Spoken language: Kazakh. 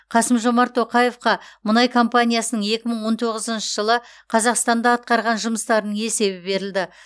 қасым жомарт тоқаевқа мұнай компаниясының екі мың он тоғызыншы жылы қазақстанда атқарған жұмыстарының есебі берілді